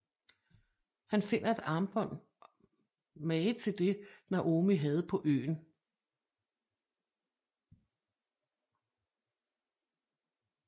Han finder et armbånd mange til det Naomi havde på øen